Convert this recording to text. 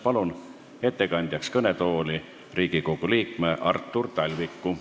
Palun ettekandeks kõnetooli Riigikogu liikme Artur Talviku.